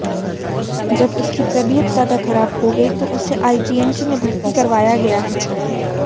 जब उसकी तबीयत ज्यादा खराब हो गई तो उसे आईजीएमसी में भर्ती करवाया गया है